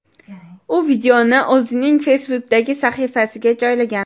U videoni o‘zining Facebook’dagi sahifasiga joylagan.